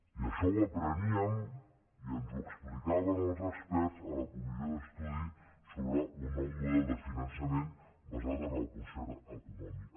i això ho apreníem i ens ho explicaven els experts a la comissió d’estudi d’un nou model de finançament basat el concert econòmic